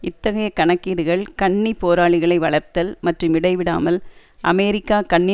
இத்தகைய கணக்கீடுகள் சுன்னி போராளிகளை வளர்த்தல் மற்றும் இடைவிடாமல் அமெரிக்கா சுன்னி